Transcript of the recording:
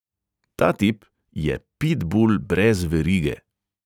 Ta tip je pitbul brez verige.